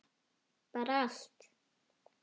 Bara allt.